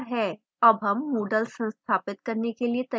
अब हम moodle संस्थापित करने के लिए तैयार हैं